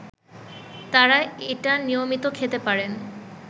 তারা এটা নিয়মিত খেতে পারেন